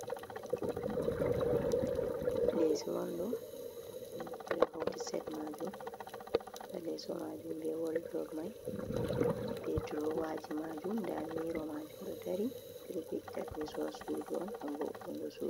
Lesso on ɗo, ɗo hauti set majum nda leso majum be woldrob mai be drowaji majum nda miro majum ɗo dari ɓedo fe’ita leso ha sudu on gam voutungo sudu.